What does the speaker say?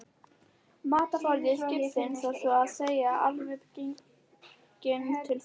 Matarforði skipsins var svo að segja alveg genginn til þurrðar.